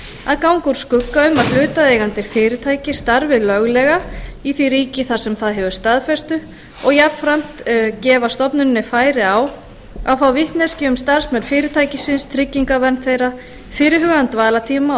að ganga úr skugga um að hlutaðeigandi fyrirtæki starfi löglega í því ríki þar sem það hefur staðfestu og jafnframt gefa stofnuninni færi á að fá vitneskju um starfsmenn fyrirtækisins tryggingavernd þeirra fyrirhugaðan dvalartíma og